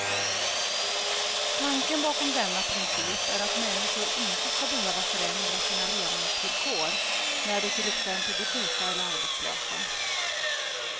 Tanken bakom denna princip är att människor inte ska behöva förändra sina levnadsvillkor när de till exempel blir sjuka eller arbetslösa.